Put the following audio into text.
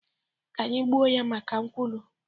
Ka anyị gbuo ya maka nkwulu